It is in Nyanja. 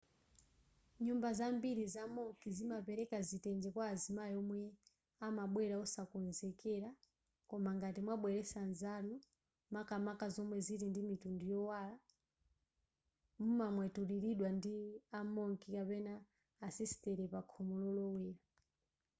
nyumba zambiri zama monk zimapereka zitenje kwa amayi omwe amabwera osakonzekera koma ngati mwabweretsa zanu makamaka zomwe zili ndi mitundu yowala mumamwemwetulilidwa ndi a monk kapena asisitere pakhomo lolowera